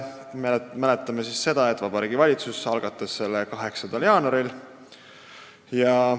Mäletame, et Vabariigi Valitsus algatas selle 8. jaanuaril.